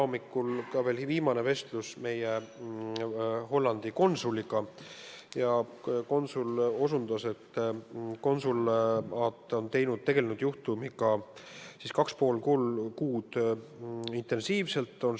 Mul oli veel täna hommikul vestlus meie Hollandi konsuliga ja konsul ütles, et konsulaat on selle juhtumiga 2,5 kuud intensiivselt tegelenud.